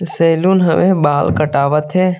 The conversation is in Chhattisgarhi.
सेलून हवे बाल कटावत हे।